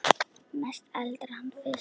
Mest eldar hann fisk.